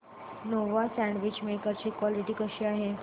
Nova sandwich maker ची quality कशी आहे